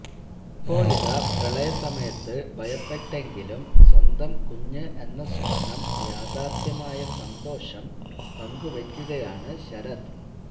ഇപ്പോഴിതാ പ്രളയസമയത്ത് ഭയപ്പെട്ടെങ്കിലും സ്വന്തം കുഞ്ഞ് എന്ന സ്വപ്നം യാഥാര്ഥ്യമായ സന്തോഷം പങ്കുവെക്കുകയാണ് ശരത്